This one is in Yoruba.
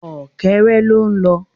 Ọ̀kẹ́rẹ́ ló ń lọ